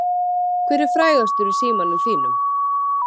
Hver er frægastur í símanum þínum?